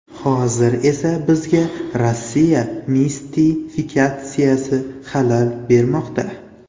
Hozir esa bizga Rossiya mistifikatsiyasi xalal bermoqda.